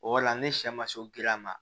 O yɔrɔ la ne sɛ ma se giriya ma